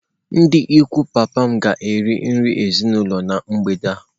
Ndị ikwu papa m ga-eri nri ezinụlọ na mgbede a.